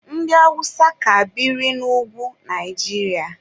Ndị awụsa ka biri n'ugwu Naijiria.